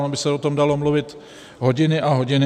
Ono by se o tom dalo mluvit hodiny a hodiny.